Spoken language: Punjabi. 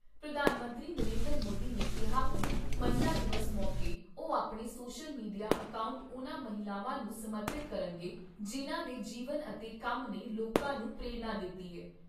ਪ੍ਰਧਾਨ ਮੰਤਰੀ ਨਰਿੰਦਰ ਮੋਦੀ ਨੇ ਕਿਹਾ ਕਿ ਮਹਿਲਾ ਦਿਵਸ ਮੌਕੇ ਉਹ ਆਪਣੇ ਸੋਸ਼ਲ ਮੀਡੀਆ ਅਕਾਊਂਟ ਉਨ੍ਹਾਂ ਮਹਿਲਾਵਾਂ ਨੂੰ ਸਮਰਪਿਤ ਕਰਨਗੇ, ਜਿਨ੍ਹਾਂ ਦੇ ਜੀਵਨ ਅਤੇ ਕੰਮ ਨੇ ਲੋਕਾਂ ਨੂੰ ਪ੍ਰੇਰਣਾ ਦਿੱਤੀ ਐ।